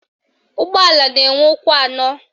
Ụgbọala na-enwe ụkwụ anọ